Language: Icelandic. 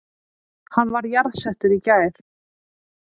Hann var jarðsettur í gær